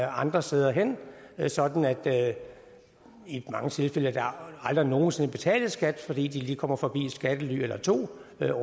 andre steder hen sådan at der i mange tilfælde aldrig nogen sinde betales skat fordi de lige kommer forbi et skattely eller to